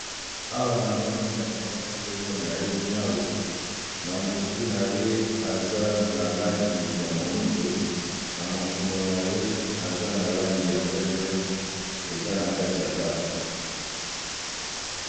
awa na moni nyama moko nkombo na ye nyau na motu na ye aza na langi ya moindo na mokongo na ye aza na langi ya pembe eza na kati ya ndako